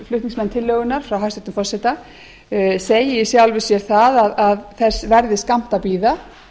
flutningsmann tillögunnar frá hæstvirtum forseta segi í sjálfu sér það að þess verði skammt að bíða